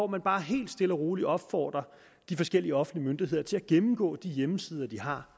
man bare helt stille og roligt opfordrer de forskellige offentlige myndigheder til at gennemgå de hjemmesider de har